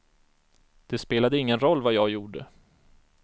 Det spelade ingen roll vad jag gjorde.